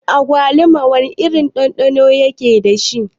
Agwaluma wana irin ɗanɗano yake dashi?